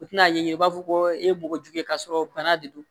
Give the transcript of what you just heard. U tɛna ɲɛ i b'a fɔ ko e ye mɔgɔ jugu ye k'a sɔrɔ bana de don